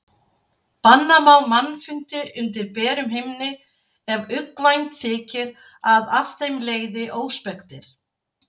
Banna má mannfundi undir berum himni ef uggvænt þykir að af þeim leiði óspektir.